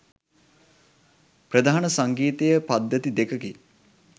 ප්‍රධාන සංගීතය පද්ධති දෙකකි.